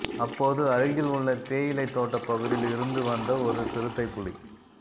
அப்போது அருகில் உள்ள தேயிலை தோட்ட பகுதியில் இருந்துவந்த ஒரு சிறுத்தைப்புலி